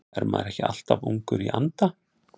Er maður ekki alltaf ungur í anda?